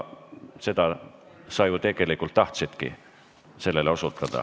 Sellele sa ju tegelikult osutada tahtsidki.